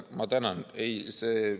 Ma tänan!